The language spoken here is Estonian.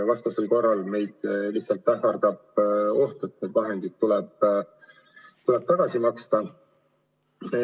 Vastasel korral ähvardab meid lihtsalt oht, et need vahendid tuleb tagasi maksta.